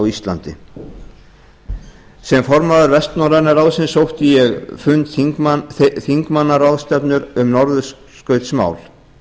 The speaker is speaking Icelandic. íslandi sem formaður vestnorræna ráðsins sótti ég fund þingmannaráðstefnu um norðurskautsmál